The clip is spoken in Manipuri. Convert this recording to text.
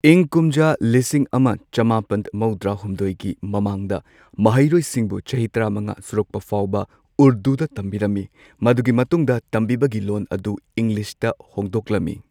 ꯏꯪ ꯀꯨꯝꯖꯥ ꯂꯤꯁꯤꯡ ꯑꯃ ꯆꯃꯥꯄꯟ ꯃꯧꯗ꯭ꯔꯥ ꯍꯨꯝꯗꯣꯏꯒꯤ ꯃꯃꯥꯡꯗ ꯃꯍꯩꯔꯣꯏꯁꯤꯡꯕꯨ ꯆꯍꯤ ꯇꯔꯥꯃꯉꯥ ꯁꯨꯔꯛꯄꯐꯥꯎꯕ ꯎꯔꯗꯨꯗ ꯇꯝꯕꯤꯔꯝꯃꯤ꯫ ꯃꯗꯨꯒꯤ ꯃꯇꯨꯡꯗ ꯇꯝꯕꯤꯕꯒꯤ ꯂꯣꯟ ꯑꯗꯨ ꯏꯪꯂꯤꯁꯇ ꯍꯣꯡꯗꯣꯛꯂꯝꯃꯤ꯫